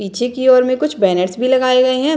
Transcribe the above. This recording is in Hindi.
पीछे की ओर में कुछ बैनर्स भी लगाए हुए है।